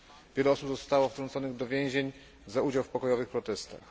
Wiele osób zostało wtrąconych do więzień za udział w pokojowych protestach.